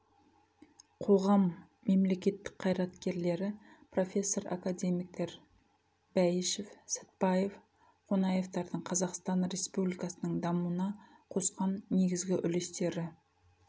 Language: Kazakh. қоғам мемлекет қайраткерлері профессор академиктер бәйішев сатбаев қонаевтардың қазақстан республикасының дамуына қосқан негізгі үлестері